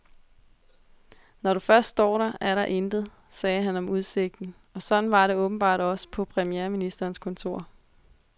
Når du først står der, er der intet, sagde han om udsigten, og sådan var det åbenbart også på premierministerens kontor.